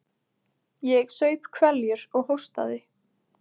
Ég saup hveljur og hóstaði.